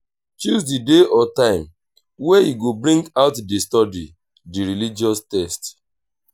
choose di day or time wey you go bring out de study di religious text